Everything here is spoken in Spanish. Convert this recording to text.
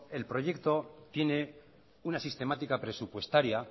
el proyecto tiene una sistemática presupuestaria